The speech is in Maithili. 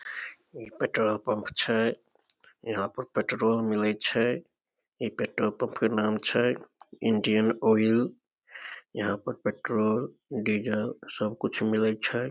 इ पेट्रोल पंप छै यहां पर पेट्रोल मिले छै इ पेट्रोल पम्प के नाम छै इंडियन ऑयल यहां पर पेट्रोल डीजल सब कुछ मिले छै।